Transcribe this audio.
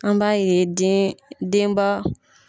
An b'a ye den denba.